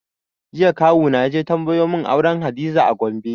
Jiya kawu na yaje tambayo mun auren hadiza a Gombe